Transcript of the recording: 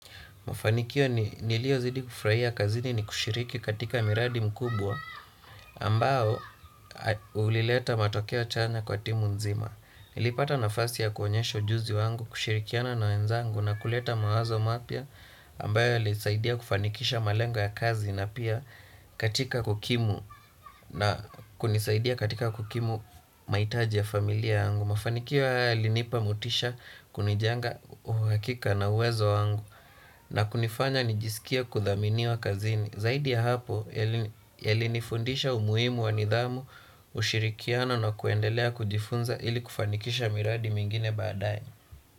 Ufanikio nilio zidi kufraia kazini ni kushiriki katika miradi mkubwa ambao ulileta matokeo chanya kwa timu nzima. Nilipata nafasi ya kuonyesha ujuzi wangu kushirikiana na wenzangu na kuleta mawazo mapia ambayo alisaidia kufanikisha malengo ya kazi na pia katika kukimu na kunisaidia katika kukimu maitaji ya familia wangu. Mafanikia haya yalinipa motisha kunijenga uhakika na uwezo wangu na kunifanya nijisikie kudhamini wa kazini. Zaidi ya hapo, ya linifundisha umuhimu wa nidhamu, ushirikiano na kuendelea kujifunza ili kufanikisha miradi mingine badaae.